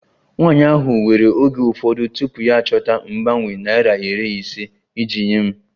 Nwanyị ahụ were oge ụfọdụ tupu ya achọta mgbanwe naira iri ise iji nye m